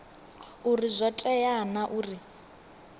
uri zwo tea naa uri